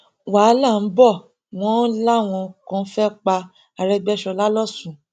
wàhálà ń bọ ọ wọn làwọn kan fẹẹ pa arẹgbẹsọlá lọsùn